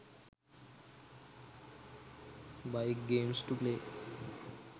bike games to play